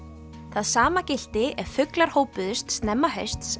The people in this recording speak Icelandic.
það sama gilti ef fuglar hópuðust snemma hausts